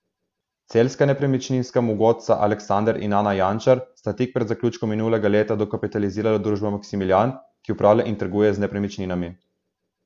Celjska nepremičninska mogotca Aleksander in Ana Jančar sta tik pred zaključkom minulega leta dokapitalizirala družbo Maksimilijan, ki upravlja in trguje z nepremičninami.